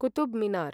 Qutub Minar